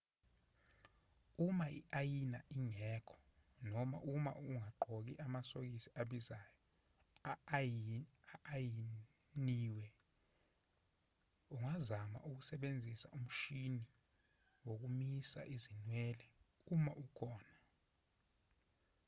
uma i-ayina ingekho noma uma ungagqoki amasokisi abizayo a-ayiniwe ungazama ukusebenzisa umshini wokomisa izinwele uma ukhona